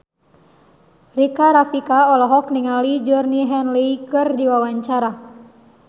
Rika Rafika olohok ningali Georgie Henley keur diwawancara